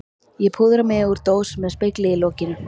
Ég púðra mig úr dós með spegli í lokinu.